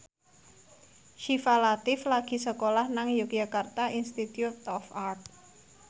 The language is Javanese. Syifa Latief lagi sekolah nang Yogyakarta Institute of Art